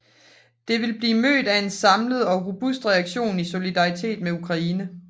Det vil blive mødt af en samlet og robust reaktion i solidaritet med Ukraine